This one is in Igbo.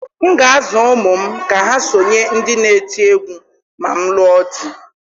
M ga-azụ ụmụ m ka ha sonye ndị n'eti egwu ma m lụrụ di.